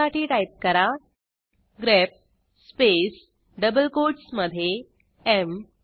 त्यासाठी टाईप करा grep space double कोटसमधे एम